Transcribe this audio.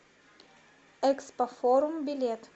экспофорум билет